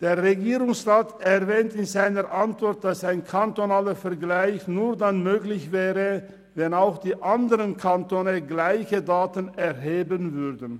Der Regierungsrat erwähnt in seiner Antwort, dass ein kantonaler Vergleich nur dann möglich wäre, wenn auch die anderenKantone gleiche Daten erheben würden.